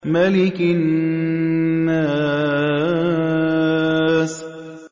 مَلِكِ النَّاسِ